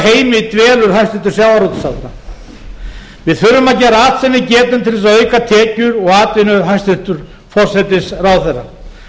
heimi dvelur hæstvirtur sjávarútvegsráðherra við þurfum að gera allt sem við getum til að auka tekjur og atvinnu hæstvirtur forsætisráðherra